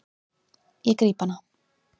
Ég gríp hana.